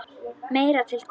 Meira til koma.